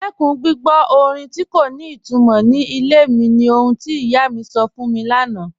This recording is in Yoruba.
Dúró gbìgbọ́ orin tí kò ní ìtumọ́ ní ilẹ̀ mi ní ọ̀hun tí iyá mi sọ́ fún mi lánà